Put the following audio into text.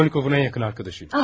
Raskolnikovun ən yaxın dostu idi.